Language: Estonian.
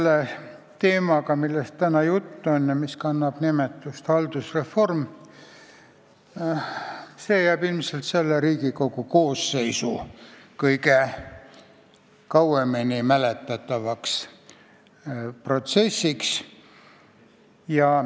See teema, millest täna juttu on ja mis kannab nimetust "haldusreform", jääb ilmselt selle Riigikogu koosseisu kõige kauemini mäletatavaks protsessiks.